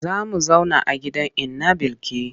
Za mu zauna a gidan inna Bilki.